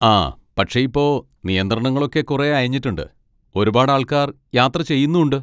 ആ, പക്ഷെ ഇപ്പൊ നിയന്ത്രണങ്ങളൊക്കെ കുറെ അയഞ്ഞിട്ടുണ്ട്, ഒരുപാട് ആൾക്കാർ യാത്ര ചെയ്യുന്നും ഉണ്ട്.